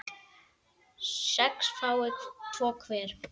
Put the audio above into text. sex fái tvo hver